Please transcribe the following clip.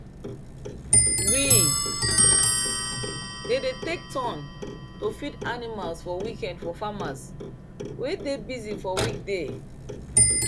we dey dey take turn to feed animals for weekend for farmers wey dey busy for weekday